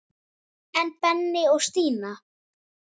En Benni og Stína?